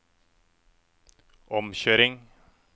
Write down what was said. omkjøring